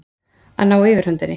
Að ná yfirhöndinni